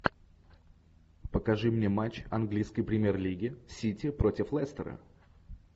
покажи мне матч английской премьер лиги сити против лестера